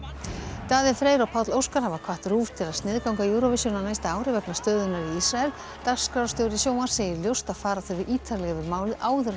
Daði Freyr og Páll Óskar hafa hvatt RÚV til að sniðganga Eurovision á næsta ári vegna stöðunnar í Ísrael dagskrárstjóri sjónvarps segir ljóst að fara þurfi ítarlega yfir málið áður en